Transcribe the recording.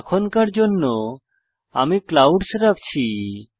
এখনকার জন্য আমি ক্লাউডস রাখছি